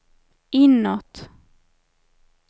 inåt